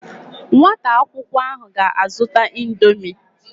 Nwata akwukwo ahu ga azuta indomie